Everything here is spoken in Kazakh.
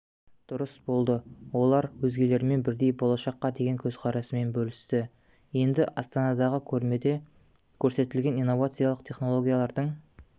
дұрыс болды олар өзгелермен бірдей болашаққа деген көзқарасымен бөлісті енді астанадағы көрмеде көрсетілген инновациялық технологиялардың